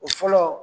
O fɔlɔ